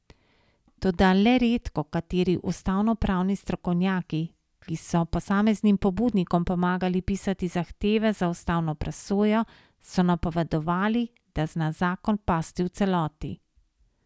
Toda le redkokateri ustavnopravni strokovnjaki, ki so posameznim pobudnikom pomagali pisati zahteve za ustavno presojo, so napovedovali, da zna zakon pasti v celoti.